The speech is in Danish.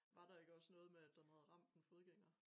Var der ikke også noget med at den havde ramt en fodgænger